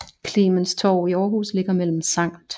Clemens Torv i Aarhus ligger mellem Skt